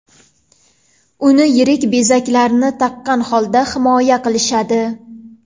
Uni yirik bezaklar taqqan holda himoya qilishadi.